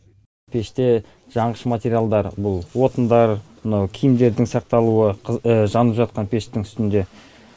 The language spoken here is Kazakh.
пеште жаңғыш материалдар бұл отындар мынау киімдердің сақталуы жанып жатқан пештің үстінде